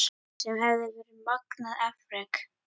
Sem hefði verið magnað afrek.